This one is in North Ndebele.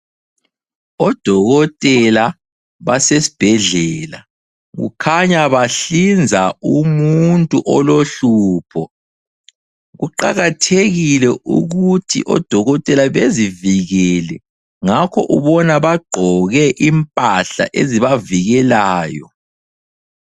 Odokotela basesibhedlela, kukhanya bahlinza umuntu olohlupho. Kuqakathekile ukuthi odokotela bezivikele, ngakho ubona bagqoke impahla ezibavikelayo.